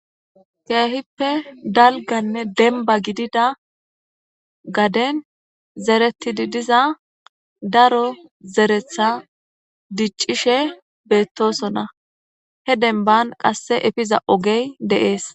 keehippe dalganne denba gidida gaden zeretidi diza daro zeretha diccishe beettosona he denban qasse efiza ogey de'ees